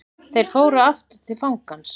Þeir fóru aftur til fangans.